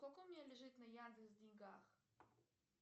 сколько у меня лежит на яндекс деньгах